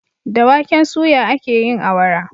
Da waken suya akeyin awara